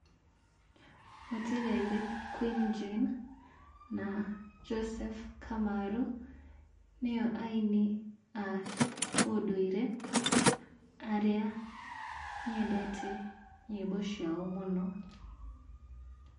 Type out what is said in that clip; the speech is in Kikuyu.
Mũtigairĩ Queen Jane na Joseph Kamarũ nĩo aini a ũndũire arĩa nyendete nyĩmbo ciao mũno.